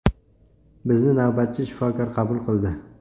Bizni navbatchi shifokor qabul qildi.